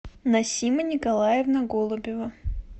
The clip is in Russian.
насима николаевна голубева